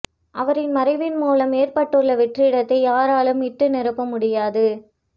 அவரின் மறைவின் மூலம் ஏற்பட்டுள்ள வெற்றிடத்தை யாராலும் இட்டு நிரப்ப முடியாது